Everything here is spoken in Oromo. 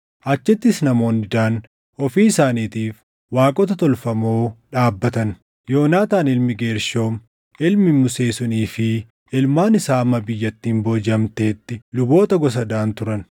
Achittis namoonni Daan ofii isaaniitiif waaqota tolfamoo dhaabbatan; Yoonaataan ilmi Geershoom, ilmi Musee sunii fi ilmaan isaa hamma biyyattiin boojiʼamtetti luboota gosa Daan turan.